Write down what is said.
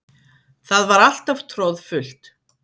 Það var alltaf troðfullt.